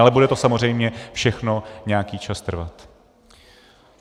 Ale bude to samozřejmě všechno nějaký čas trvat.